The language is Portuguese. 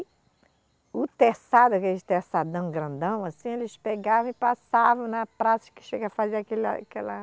O terçado, aqueles terçadão grandão assim, eles pegavam e passavam na praça que chega fazia aquele aquela